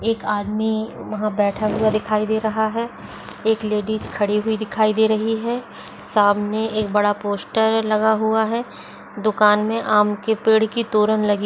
एक आदमी वहां बैठा हुआ दिखाई दे रहा है एक लेडिज खड़ी हुई दिखाई दे रही है सामने एक बड़ा पोस्टर लगा हुआ है दुकान मे आम के पेड़ की तोरण लगी --